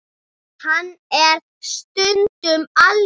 Hann er stundum algjör.